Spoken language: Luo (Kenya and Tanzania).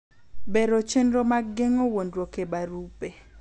Bero chenro mag geng’o wuondoruok e barupe.